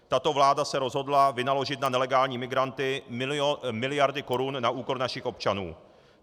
Tato vláda se rozhodla vynaložit na nelegální migranty miliardy korun na úkor našich občanů.